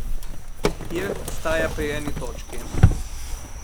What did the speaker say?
Irt ostaja pri eni točki.